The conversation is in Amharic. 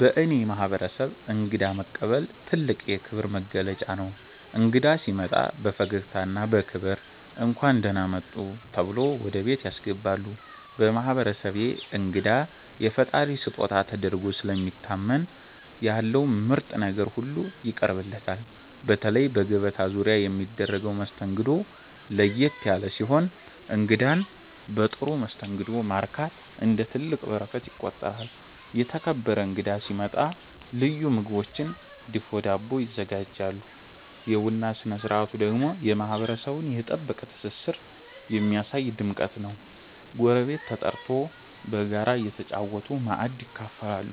በእኔ ማህበረሰብ እንግዳ መቀበል ትልቅ የክብር መገለጫ ነው። እንግዳ ሲመጣ በፈገግታና በክብር “እንኳን ደህና መጡ” ተብሎ ወደ ቤት ያስገባሉ። በማህበረሰቤ እንግዳ የፈጣሪ ስጦታ ተደርጎ ስለሚታመን ያለው ምርጥ ነገር ሁሉ ይቀርብለታል። በተለይ በገበታ ዙሪያ የሚደረገው መስተንግዶ ለየት ያለ ሲሆን እንግዳን በጥሩ መስተንግዶ ማርካት እንደ ትልቅ በረከት ይቆጠራል። የተከበረ እንግዳ ሲመጣ ልዩ ምግቦችና ድፎ ዳቦ ይዘጋጃሉ። የቡና ስነ ስርዓቱ ደግሞ የማህበረሰቡን የጠበቀ ትስስር የሚያሳይ ድምቀት ነው፤ ጎረቤት ተጠርቶ በጋራ እየተጨዋወቱ ማእድ ይካፈላሉ።